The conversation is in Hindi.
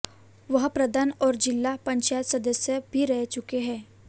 वह प्रधान और जिला पंचायत सदस्य भी रह चुका है